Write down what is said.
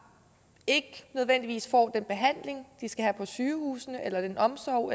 ikke nødvendigvis får den behandling på sygehusene eller den omsorg